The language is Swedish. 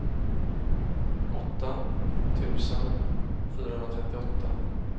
åtta tusen fyrahundratrettioåtta